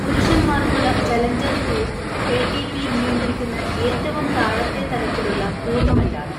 പുരുഷൻമാർക്കുള്ള challenger tour ATP നിയന്ത്രിക്കുന്ന ഏറ്റവും താഴത്തെ തലത്തിലുള്ള ടൂർണമെന്റാണ്.